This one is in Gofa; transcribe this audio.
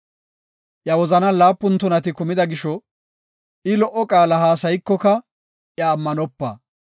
Iya wozanan laapun tunati kumida gisho, I lo77o qaala haasaykoka iya ammanopa.